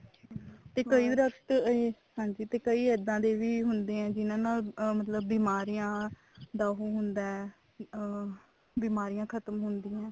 ਤੇ ਕਈ ਦਰਖਤ ਹਾਂਜੀ ਤੇ ਕਈ ਇੱਦਾਂ ਦੇ ਵੀ ਹੁੰਦੇ ਆ ਜਿਹਨਾ ਨੂੰ ਮਤਲਬ ਬਿਮਾਰੀਆਂ ਦਾ ਉਹ ਹੁੰਦਾ ਅਮ ਬਿਮਾਰੀਆਂ ਖਤਮ ਹੁੰਦੀਆਂ